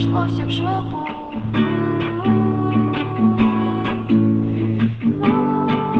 маркер жалобам в